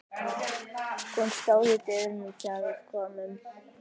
Hún stóð í dyrunum þegar við komum.